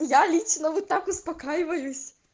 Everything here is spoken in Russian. я лично вы так успокаиваюсь